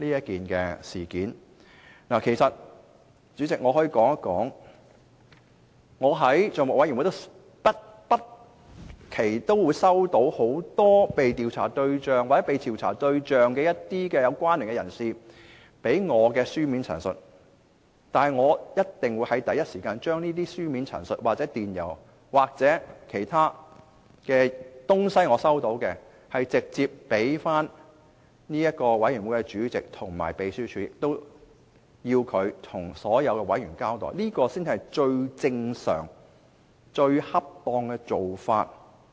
以我個人經驗為例，我在政府帳目委員會不時會接獲被調查對象或被調查對象的相關人士，發給我的書面陳述，但我一定會第一時間把這書面陳述、電郵或我接獲的其他物品，直接提交相關委員會主席和秘書處，請他們向所有委員交代，這才是最正常、最恰當的做法。